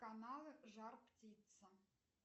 каналы жар птица